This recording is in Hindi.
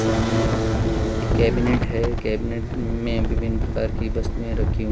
सामने एक कैबिनेट है कैबिनेट में विभिन्न प्रकार की वस्तुएं रखी हुं--